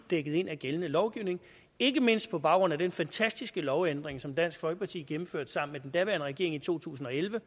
dækket ind af gældende lovgivning ikke mindst på baggrund af den fantastiske lovændring som dansk folkeparti gennemførte sammen med den daværende regering i to tusind og elleve og